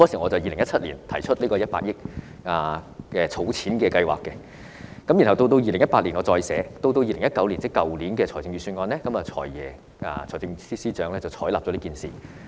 我在2017年提出這項100億元的儲蓄計劃，然後到2018年我再次提出，到2019年，即去年的預算案，財政司司長便採納了這項建議。